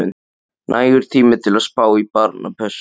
Nægur tími til að spá í barnapössun.